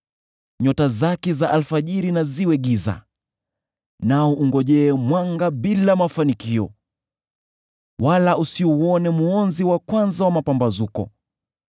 Nyota zake za alfajiri na ziwe giza; nao ungojee mwanga bila mafanikio, wala usiuone mwonzi wa kwanza wa mapambazuko,